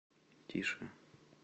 тише